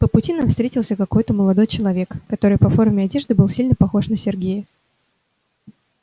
по пути нам встретился какой-то молодой человек который по форме одежды был сильно похож на сергея